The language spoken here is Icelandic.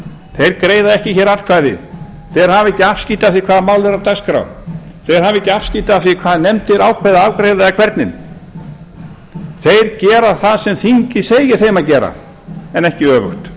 þeir greiða ekki atkvæði þeir hafa ekki afskipti af því hvaða mál eru á dagskrá þeir hafa ekki afskipti af því hvað nefndir ákveða að afgreiða eða hvernig þeir gera það sem þingið segir þeim að gera en ekki